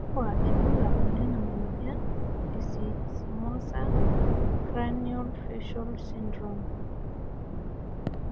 kakua irbulabol lena moyian e Simosa cranio facial syndrome?